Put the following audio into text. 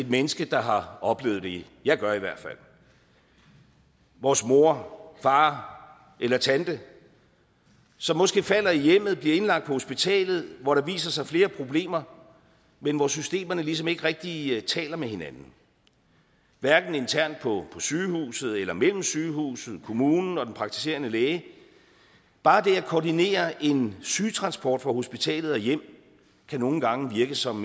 menneske der har oplevet det jeg gør i hvert fald vores mor far eller tante som måske falder i hjemmet bliver indlagt på hospitalet hvor der viser sig flere problemer men hvor systemerne ligesom ikke rigtig taler med hinanden hverken internt på sygehuset eller mellem sygehuset kommunen og den praktiserende læge bare det at koordinere en sygetransport fra hospitalet og hjem kan nogle gange virke som